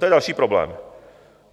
To je další problém.